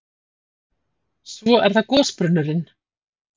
Svo er það gosbrunnurinn.